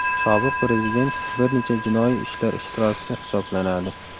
Sobiq prezident bir necha jinoiy ishlar ishtirokchisi hisoblanadi.